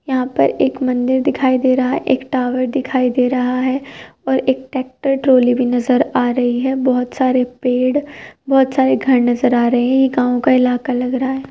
यहाँ पर एक मंदिर दिखाई दे रहा है। एक टॉवर दिखाई दे रहा है और एक टैक्टर ट्राली भी नज़र आ रही है। बोहोत सारे पेड़ बोहोत सारे घर नज़र आ रहे हैं। ये गाँव का इलाका लग रहा है।